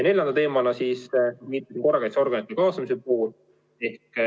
Neljas teema on siis korrakaitseorganite kaasamise pool.